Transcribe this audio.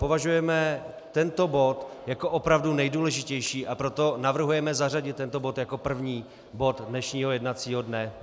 Považujeme tento bod jako opravdu nejdůležitější, a proto navrhujeme zařadit tento bod jako první bod dnešního jednacího dne.